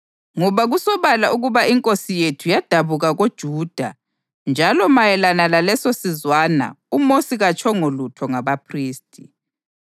Ngoba kusobala ukuba iNkosi yethu yadabuka koJuda njalo mayelana lalesosizwana uMosi katshongo lutho ngabaphristi.